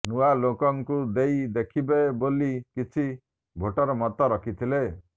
ନୂଆ େଲାକଙ୍କୁ େଦଇ ଦେଖିବା େବାଲି କିଛି େଭାଟର ମତ ରଖିଥିଲେ